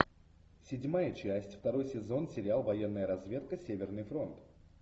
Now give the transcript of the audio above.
седьмая часть второй сезон сериал военная разведка северный фронт